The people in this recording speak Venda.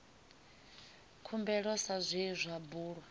khumbelo sa zwe zwa bulwa